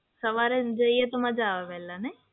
સવારે જઈએ તો મજા આવે વહેલા.